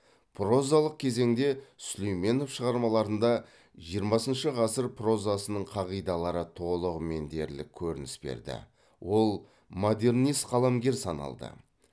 прозалық кезеңде сүлейменов шығармаларында жиырмасыншы ғасыр прозасының қағидалары толығымен дерлік көрініс берді ол модернист қаламгер саналды